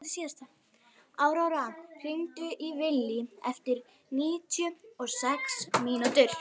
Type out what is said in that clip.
Áróra, hringdu í Villy eftir níutíu og sex mínútur.